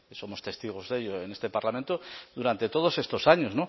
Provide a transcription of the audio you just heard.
somos testigos de ello en este parlamento durante todos estos años